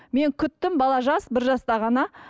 мен күттім бала жас бір жаста ғана